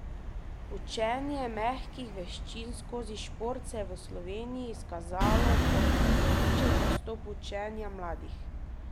Učenje mehkih veščin skozi šport se je v Sloveniji izkazalo kot odličen pristop učenja mladih.